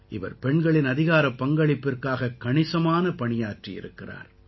இவர் பெண்களின் அதிகாரப் பங்களிப்பிற்காகக் கணிசமான பணியாற்றியிருக்கிறார்